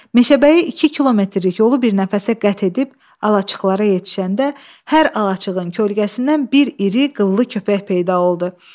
Meşəbəyi 2 kilometrlik yolu bir nəfəsə qət edib alaçıqlara yetişəndə hər alaçığın kölgəsindən bir iri qıllı köpək peyda oldu.